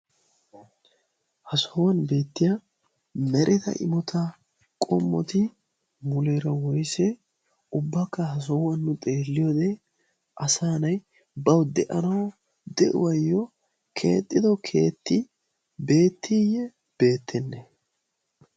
ha sohuwan beettiya mereta imota qommoti muleero woyssee ubbakka ha sohuwan xeelliyoodee asaanay bawu de'anau de'uwaayyo keexxido keetti beettiiyye beettenne